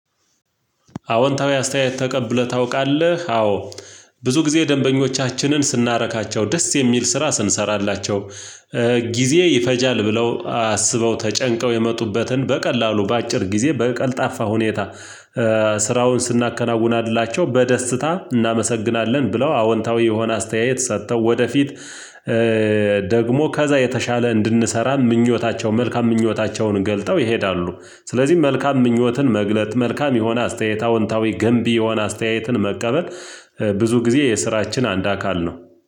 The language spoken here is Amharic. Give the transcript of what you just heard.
አዎንታዊ አስተያየት ተቀብለህ ታውቃለህ አዎ ብዙ ጊዜ ደንበኞቻችንን ስናረካቸው ደስ የሚል ስራ ስንሰራላቸው። ጊዜ ይፈጃል ብለው አስበው ተጨንቀው የመጡበትን በቀላሉ በአጭር ጊዜ በቀልጣፋ ሁኔታ ስራውን ስናከናውናላቸው በደስታ እናመሰግናለን ብለው አዎንታዊ የሆነ አስተያየት ሰጥተው ወደፊት ደግሞ ከዛ የተሻለ እንድንሰራ ምኞታቸው መልካም ምኞታቸውን ገልጠው ይሄዳሉ። ስለዚህ መልካም ምኞትን መግለጥ መልካም የሆነ አስተያየታዊ አዎንታዊ ገንቢ የሆነ አስተያየትን መቀበል ብዙ ጊዜ የስራችን አንድ አካል ነው።